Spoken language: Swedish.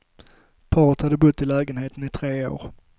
Paret hade bott i lägenheten i tre år.